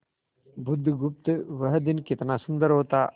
बुधगुप्त वह दिन कितना सुंदर होता